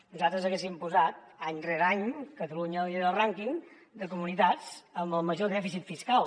nosaltres hi haguéssim posat any rere any catalunya lidera el rànquing de comunitats amb el major dèficit fiscal